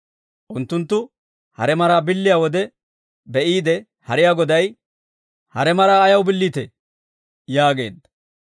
Unttunttu hare maraa billiyaa wode be'iide hariyaa Goday, «Hare maraa ayaw billiitee?» yaageedda.